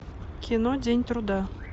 кино день труда